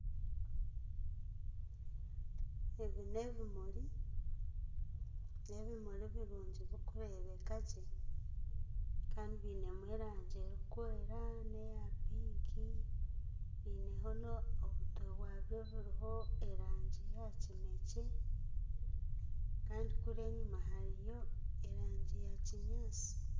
Ebi n'ebimuri, n'ebimuri birungi birikureebeka gye. Kandi biinemu erangi erikwera n'eya pinki bineho na obutwe bwabyo buriho erangi eya kinekye. Kandi kuri enyima hariyo erangi ya kinyaasi.